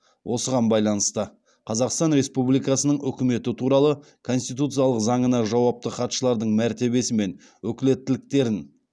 осыған байланысты қазақстан республикасының үкіметі туралы конституциялық заңына жауапты хатшылардың мәртебесі мен өкілеттіктерін